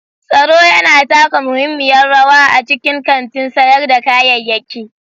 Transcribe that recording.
Tsaro yana taka muhimmiyar rawa a cikin kantin sayar da kayayyaki.